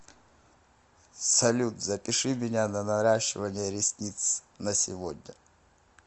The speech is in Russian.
салют запиши меня на наращивание ресниц на сегодня